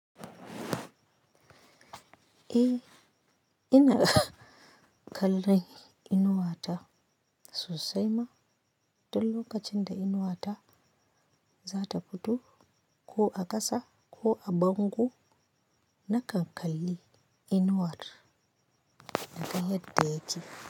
E, ina kallon Inuwata sosai ma, don lokacin da Inuwata za ta fito ko a kasa ko a bango, na kan kalli Inuwa ta yayin da take.